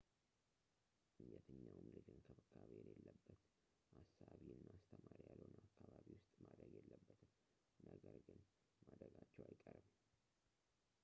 የትኛውም ልጅ እንክብካቤ የሌለበት አሳቢ እና አስተማሪ ያልሆነ አካባቢ ውስጥ ማደግ የለበትም ነገር ግን ማደጋቸው አይቀርም